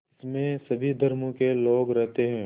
इसमें सभी धर्मों के लोग रहते हैं